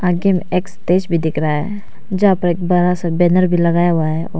आगे मे एक स्टेज भी दिख रहा है जहां पर एक बड़ा सा बैनर भी लगाया हुआ है और --